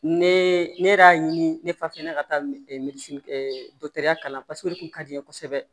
Ne ne yɛrɛ y'a ɲini ne fa fɛn ne ka taa ya kalan paseke o de kun ka di n ye kosɛbɛ